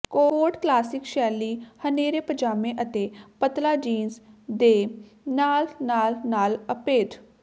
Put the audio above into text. ਕੋਟ classic ਸ਼ੈਲੀ ਹਨੇਰੇ ਪਜਾਮੇ ਅਤੇ ਪਤਲਾ ਜੀਨਸ ਦੇ ਨਾਲ ਨਾਲ ਨਾਲ ਅਭੇਦ